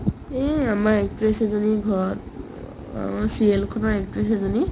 এই আমাৰ actress এজনীৰ ঘৰত অ চিৰিয়েলখনৰ actress এজনী